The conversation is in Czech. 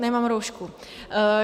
Nemám roušku.